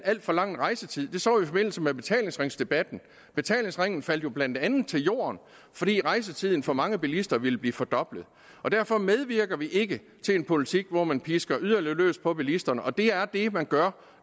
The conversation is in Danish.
alt for lang rejsetid det så vi i forbindelse med betalingsringsdebatten betalingsringen faldt jo blandt andet til jorden fordi rejsetiden for mange bilister ville blive fordoblet derfor medvirker vi ikke til en politik hvor man pisker yderligere løs på bilisterne og det er det man gør